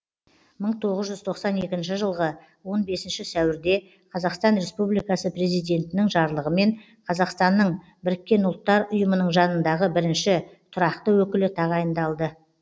мың тоғыз жүз тоқсан екінші жылғы он бесінші сәуірде қазақстан республикасы президентінің жарлығымен қазақстанның біріккен ұлттар ұйымының жанындағы бірінші тұрақты өкілі тағайындалды